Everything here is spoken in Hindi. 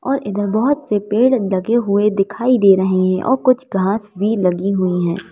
और इधर बहोत से पेड़ लगे हुए दिखाई दे रहे है और कुछ घास भी लगी हुई है।